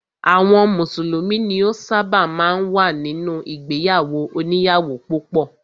Àwọn mùsùlùmí ni ó ṣábà máa ń wà nínú ìgbéyàwó òníyàwó púpọ̀.